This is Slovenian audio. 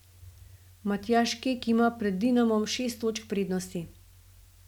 Matjaž Kek ima pred Dinamom šest točk prednosti.